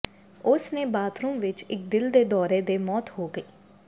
ਉਸ ਨੇ ਬਾਥਰੂਮ ਵਿੱਚ ਇੱਕ ਦਿਲ ਦੇ ਦੌਰੇ ਦੇ ਮੌਤ ਹੋ ਗਈ